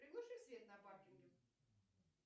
приглуши свет на паркинге